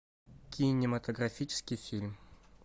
кинематографический фильм